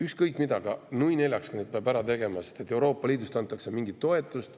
Ükskõik mis, nui neljaks peab need ära tegema, sest Euroopa Liidust antakse mingit toetust.